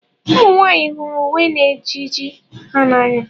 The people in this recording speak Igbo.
ụmụ nwanyị hụrụ uwe na ejiji ha n'anya